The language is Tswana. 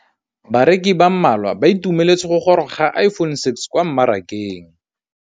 Bareki ba ba malwa ba ituemeletse go gôrôga ga Iphone6 kwa mmarakeng.